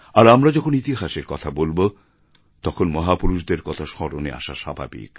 আর আমরা যখন ইতিহাসের কথা বলবো তখন মহাপুরুষদের কথা স্মরণে আসা স্বাভাবিক